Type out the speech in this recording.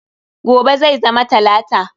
Gobe zai zama talata.